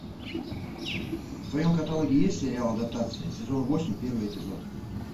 в твоем каталоге есть сериал адаптация сезон восемь первый эпизод